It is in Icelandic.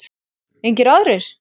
Engir aðrir?